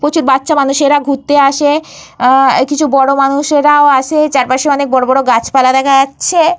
প্রচুর বাচ্চা মানুষেরা ঘুরতে আসে। আ কিছু বড় মানুষেরাও আসে। চারপাশে অনেক বড় বড় গাছপালাও দেখা যাচ্ছে।